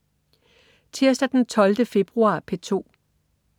Tirsdag den 12. februar - P2: